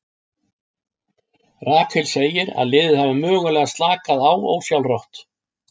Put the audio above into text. Rakel segir að liðið hafi mögulega slakað á ósjálfrátt.